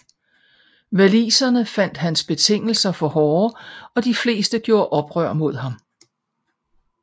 Waliserne fandt hans betingelser for hårde og de fleste gjorde oprør mod ham